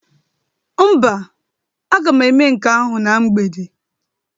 Mba, aga m eme nke ahụ na mgbede.